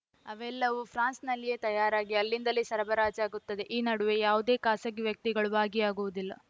ಅವೆಲ್ಲವೂ ಫ್ರಾನ್ಸ್‌ನಲ್ಲಿಯೇ ತಯಾರಾಗಿ ಅಲ್ಲಿಂದಲೇ ಸರಬರಾಜಾಗುತ್ತದೆ ಈ ನಡುವೆ ಯಾವುದೇ ಖಾಸಗಿ ವ್ಯಕ್ತಿಗಳು ಭಾಗಿಯಾಗುವುದಿಲ್ಲ